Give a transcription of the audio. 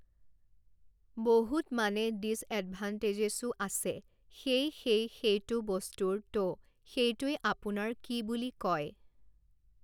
বহুত মানে ডিজএডভাণ্টেজেচো আছে সেই সেই সেইটো বস্তুৰ ত' সেইটোৱেই আপোনাৰ কি বুলি কয়